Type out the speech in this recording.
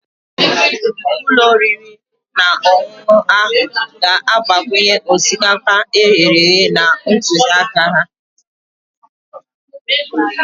Ụlọ oriri na ọṅụṅụ ahụ ga-agbakwunye osikapa e ghere eghe na ntụziaka ha